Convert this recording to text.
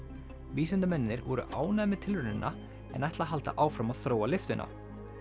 vísindamennirnir voru ánægðir með tilraunina en ætla að halda áfram að þróa lyftuna